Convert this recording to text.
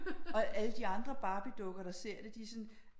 Og alle de andre Barbiedukker der ser det de er sådan